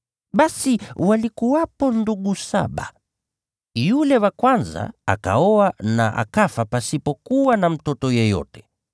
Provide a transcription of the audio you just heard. Basi palikuwepo ndugu saba. Yule wa kwanza akaoa mke, naye akafa pasipo kuwa na mtoto yeyote.